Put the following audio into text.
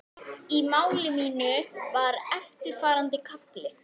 Í máli mínu var eftirfarandi kafli